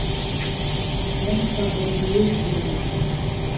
mesta lagi mismunun.